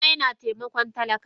Dana yana taimakon talaka wan.